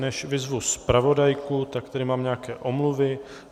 Než vyzvu zpravodajku, tak tady mám nějaké omluvy.